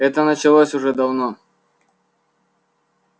это началось уже давно